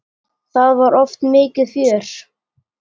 Það var oft mikið fjör.